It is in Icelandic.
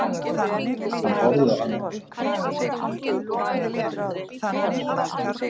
Hann horfði spyrjandi á hana.